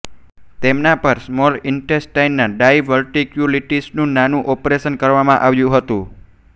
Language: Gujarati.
તેમના પર સ્મોલ ઇન્ટેસ્ટાઇનના ડાઇવર્ટિક્યુલિટિસનું નાનું ઓપરેશન કરવામાં આવ્યું હતું